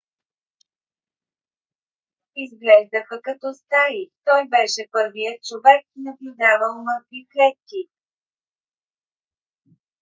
изглеждаха като стаи. той беше първият човек наблюдавал мъртви клетки